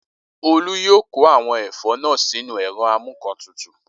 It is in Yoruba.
Olú yóò kó àwọn ẹ̀fọ́ náà sínú ẹ̀rọ amúǹkantutù